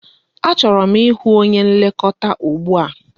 Achọrọ m ịhụ onye nlekọta ụgbụa!